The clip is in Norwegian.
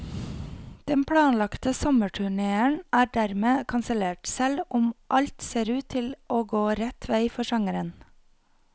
Den planlagte sommerturnéen er dermed kansellert, selv om alt ser ut til å gå rett vei for sangeren.